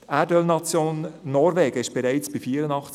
Die Erdölnation Norwegen ist bereits bei 84 Gramm.